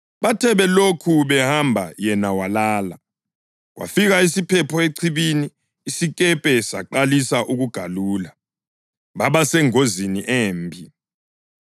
Bathe belokhu behamba yena walala. Kwafika isiphepho echibini isikepe saqalisa ukugalula, baba sengozini embi.